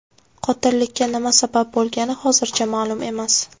Qotillikka nima sabab bo‘lgani hozircha ma’lum emas.